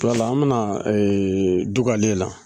Wala an bɛna dugawu de la